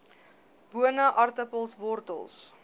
bone aartappels wortels